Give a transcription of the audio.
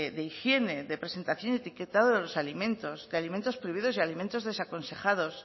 de higiene de presentación y etiquetado de los alimentos de alimentos prohibidos y de alimentos desaconsejados